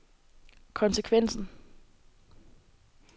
konsekvensen